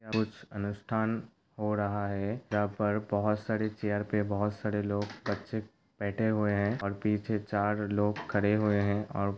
कुछ अनुष्ठान हो रहा है। यहाँ पर बहुत सारे चेयर पे बहुत सारे लोग-बच्चे बैठे हुए हैं और पीछे चार लोग खड़े हुए है और --